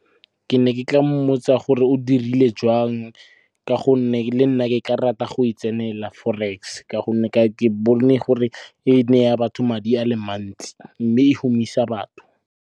Ke ne ke tla mmotsa gore o dirile jang ka gonne le nna ke ka rata go e tsenela forex. Ka gonne ke bone gore e neya batho madi a le mantsi, mme e humisa batho.